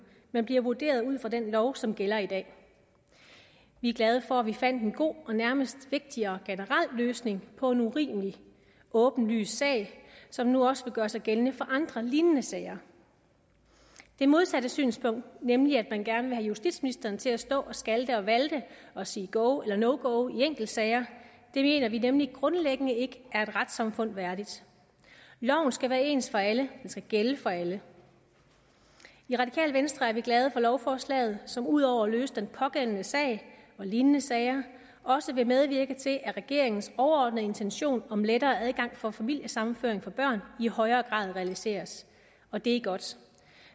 men bliver vurderet ud fra den lov som gælder i dag vi er glade for at vi fandt en god og nærmest vigtig og generel løsning på en urimelig åbenlys sag som nu også vil gøre sig gældende for andre lignende sager det modsatte synspunkt nemlig at man gerne vil have justitsministeren til at stå og skalte og valte og sige go eller no go i enkeltsager mener vi nemlig grundlæggende ikke er et retssamfund værdigt loven skal være ens for alle og skal gælde for alle i radikale venstre er vi glade for lovforslaget som udover at løse den pågældende sag og lignende sager også vil medvirke til at regeringens overordnede intention om lettere adgang for familiesammenføring for børn i højere grad realiseres og det er godt